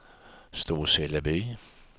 Storseleby